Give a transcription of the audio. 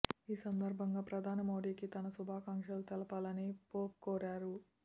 ఈ సందర్భంగా ప్రధాని మోదీకి తన శుభాకాంక్షలు తెలపాలని పోప్ కోరారు